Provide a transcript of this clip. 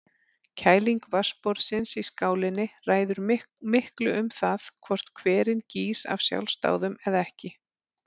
Kæling vatnsborðsins í skálinni ræður miklu um það hvort hverinn gýs af sjálfsdáðum eða ekki.